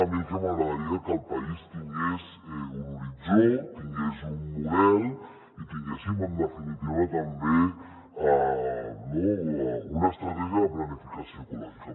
a mi el que m’agradaria és que el país tingués un horitzó tingués un model i tinguéssim en definitiva també no una estratègia de planificació ecològica